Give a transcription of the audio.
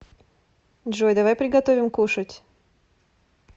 джой давай приготовим кушать